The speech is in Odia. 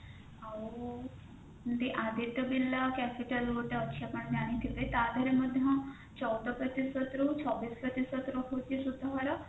ଆଊ ଯେମତି Aditya Birla capital ଅଛି ଗୋଟେ ଆପଣ ଜାଣିଥିବେ ତା ଦେହରେ ମଧ୍ୟ ଚଉଦ ପ୍ରତିଶତ ରୁ ଛବିଶ ପ୍ରତିଶତ ରହୁଛି ସୁଧହାର